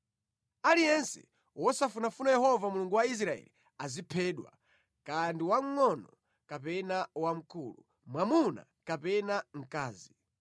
Aliyense wosafunafuna Yehova Mulungu wa Israeli aziphedwa, kaya ndi wamngʼono kapena wamkulu, mwamuna kapena mkazi.